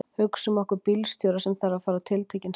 Hugsum okkur bílstjóra sem þarf að fara á tiltekinn stað.